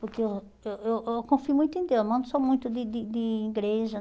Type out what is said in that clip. Porque eu eh eu eu confio muito em Deus, mas não sou muito de de de igreja.